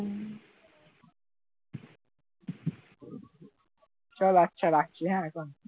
চল আচ্ছা রাখছি হ্যাঁ এখন